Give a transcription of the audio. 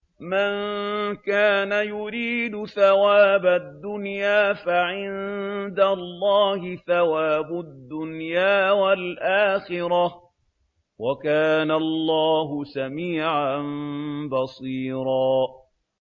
مَّن كَانَ يُرِيدُ ثَوَابَ الدُّنْيَا فَعِندَ اللَّهِ ثَوَابُ الدُّنْيَا وَالْآخِرَةِ ۚ وَكَانَ اللَّهُ سَمِيعًا بَصِيرًا